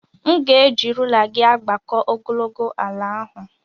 M ga-eji rula gị agbakọ ogologo ala ahụ.